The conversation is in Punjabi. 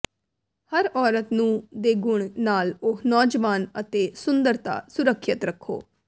ਹਰ ਔਰਤ ਨੂੰ ਦੇ ਗੁਣ ਨਾਲ ਉਹ ਨੌਜਵਾਨ ਅਤੇ ਸੁੰਦਰਤਾ ਸੁਰੱਖਿਅਤ ਰੱਖੋ